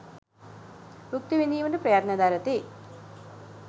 භුක්ති විඳීමට ප්‍රයත්න දරති.